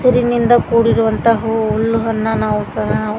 ಹಸಿರಿನಿಂದ ಕೂಡಿರುವಂತಹ ಹುಲ್ಲು ಅನ್ನು ನಾವು ಸಹ ನಾವು.